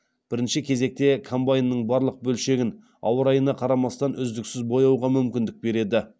бірінші кезекте комбайнның барлық бөлшегін ауа райына қарамастан үздіксіз бояуға мүмкіндік береді